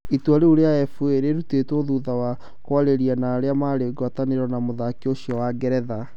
Itua rĩu rĩa FA rĩtuĩtwo thutha wa kwarĩrĩria na arĩa marĩ ngwatanĩro na mũthako ucio wa Ngeretha